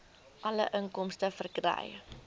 alle inkomste verkry